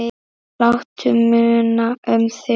Láttu muna um þig.